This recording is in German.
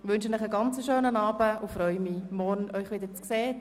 Ich wünsche Ihnen einen schönen Abend und freue mich, Sie morgen wieder zu sehen.